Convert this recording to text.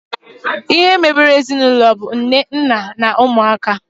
Ihe mebere ezinaụlọ bụ nne, nna na ụmụaka